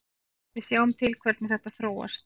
Við sjáum til hvernig þetta þróast.